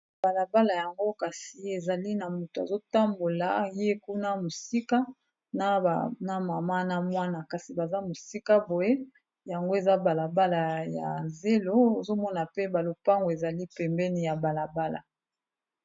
Balabala yango kasi ezali na moto azotambola ye kuna mosika na mama na mwana kasi baza mosika boye yango eza na balabala ya zelo ozomona pe ba lopango ezali pembeni ya balabala.